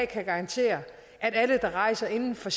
kan garantere at alle der rejser inden for